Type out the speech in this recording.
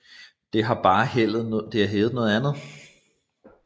Det har bare heddet noget andet